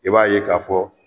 I b'a ye k'a fɔ